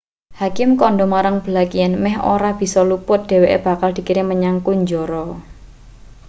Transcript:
hakim kandha marang blake yen meh ora bisa luput dheweke bakal dikirim menyang kunjara